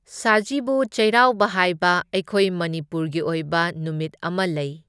ꯁꯖꯤꯕꯨ ꯆꯩꯔꯥꯎꯕ ꯍꯥꯏꯕ ꯑꯩꯈꯣꯏ ꯃꯅꯤꯄꯨꯔꯒꯤ ꯑꯣꯏꯕ ꯅꯨꯃꯤꯠ ꯑꯃ ꯂꯩ꯫